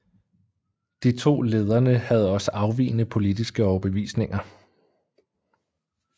De to lederne havde også afvigende politiske overbevisninger